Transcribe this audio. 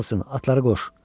Karlson, atları qoş.